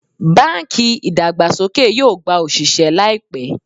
Bánkì ìdàgbàsókè yóò gba òsìsẹ́ láìpẹ́